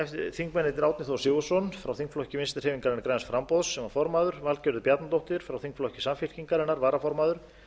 þingmennirnir árni þór sigurðsson þingflokki vinstri hreyfingarinnar græns framboðs sem var formaður valgerður bjarnadóttir frá þingflokki samfylkingarinnar varaformaður